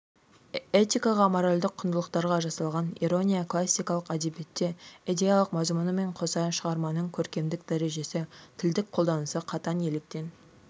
этикаға моральдік құндылықтарға жасалған ирония классикалық әдебиетте идеялық мазмұнымен қоса шығарманың көркемдік дәрежесі тілдік қолданысы қатаң електен